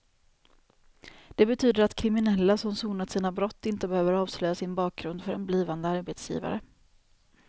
Det betyder att kriminella som sonat sina brott inte behöver avslöja sin bakgrund för en blivande arbetsgivare.